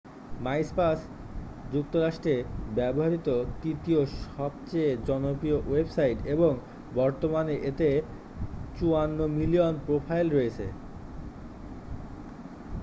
MySpace যুক্তরাষ্ট্রে ব্যবহৃত তৃতীয় সবচেয়ে জনপ্রিয় ওয়েবসাইট এবং বর্তমানে এতে 54 মিলিয়ন প্রোফাইল রয়েছে